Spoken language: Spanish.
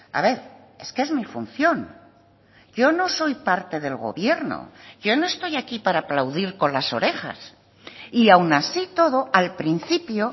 a ver es que es mi función yo no soy parte del gobierno yo no estoy aquí para aplaudir con las orejas y aún así todo al principio